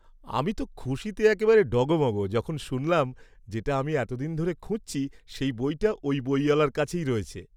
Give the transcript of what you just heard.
আমি তো খুশিতে একেবারে ডগমগ যখন শুনলাম যেটা আমি এতদিন ধরে খুঁজছি সেই বইটা ওই বইওয়ালার কাছে রয়েছে।